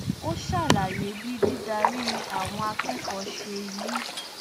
ó ṣàlàyé bí dídarí àwọn akẹkọọ ṣe yí